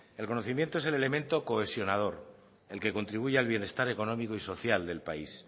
el conocimiento es el elemento cohesionador el que contribuye al bienestar económico y social del país